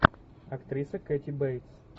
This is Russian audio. актриса кэти бейтс